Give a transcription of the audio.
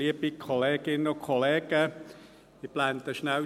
Steuergesetz (StG) 2019, erste Lesung: